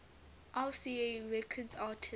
rca records artists